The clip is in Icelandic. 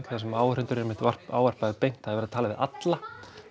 þar sem áhorfendur eru einmitt ávarpaðir beint það er verið að tala við alla